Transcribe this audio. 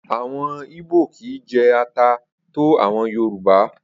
Awọn ìbò kìí jé ata tó àwọn Yorùbá.